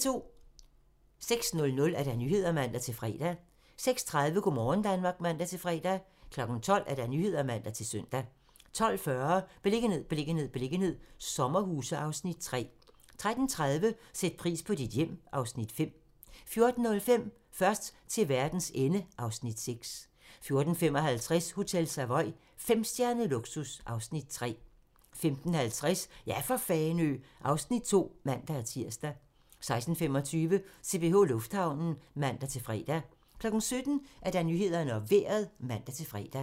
06:00: Nyhederne (man-fre) 06:30: Go' morgen Danmark (man-fre) 12:00: Nyhederne (man-søn) 12:40: Beliggenhed, beliggenhed, beliggenhed - sommerhuse (Afs. 3) 13:30: Sæt pris på dit hjem (Afs. 5) 14:05: Først til verdens ende (Afs. 6) 14:55: Hotel Savoy - femstjernet luksus (Afs. 3) 15:50: Ja for Fanø! (Afs. 2)(man-tir) 16:25: CPH Lufthavnen (man-fre) 17:00: Nyhederne og Vejret (man-fre)